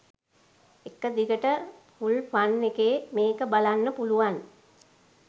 එක දිගට full fun එකේ මේක බලන්න පුළුවන්.